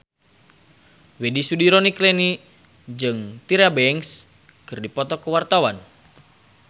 Widy Soediro Nichlany jeung Tyra Banks keur dipoto ku wartawan